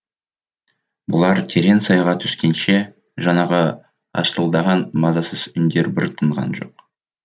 бұлар терең сайға түскенше жаңағы арсылдаған мазасыз үндер бір тынған жоқ